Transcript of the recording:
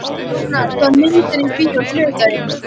Rúnar, hvaða myndir eru í bíó á þriðjudaginn?